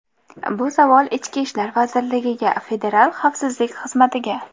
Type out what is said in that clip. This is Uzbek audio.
Bu savol ichki ishlar vazirligiga, federal xavfsizlik xizmatiga.